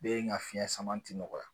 Be yen ka fiɲɛ sama ti nɔgɔya